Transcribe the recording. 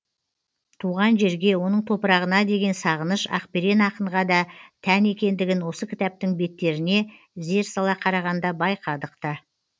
туған жерге оның топырағына деген сағыныш ақберен ақынға да тән екендігін осы кітаптың беттеріне зер сала қарағанда байқадық та